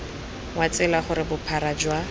wa tsela gore bophara jwa